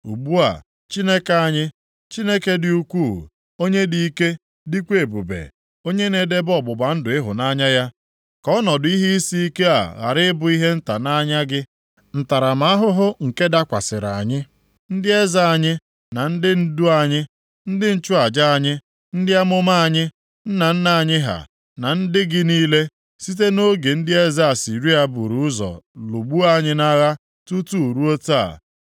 “Ugbu a, Chineke anyị, Chineke dị ukwuu, onye dị ike dịkwa ebube, onye na-edebe ọgbụgba ndụ ịhụnanya ya, ka ọnọdụ ihe isi ike a ghara ịbụ ihe nta nʼanya gị. Ntaramahụhụ nke dakwasịrị anyị, ndị eze anyị na ndị ndu anyị, ndị nchụaja anyị, ndị amụma anyị, nna nna anyị ha na ndị gị niile, site nʼoge ndị eze Asịrịa buru ụzọ lụgbuo anyị nʼagha tutu ruo taa.